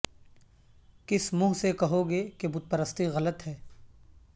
کس منھ سے کہوگے کہ بت پرستی غلط ہے